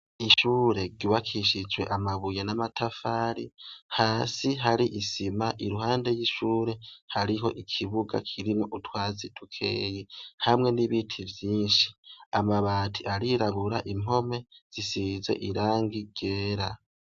Ishure gibakishijwe amabuye n'amatafari hasi hari isima iruhande y'ishure hariho ikibuga kirimwo utwazi dukeyi hamwe n'ibiti vyinshi amabati arirabura impome zisize irangi rera.